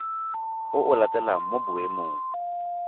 o o latelang mo boemong